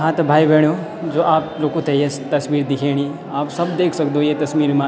हाँ त भाई-भेणाे जो आप लुखु ते ये तस्वीर दिख्येणी आप सब देख सक्दो ये तस्वीर मा।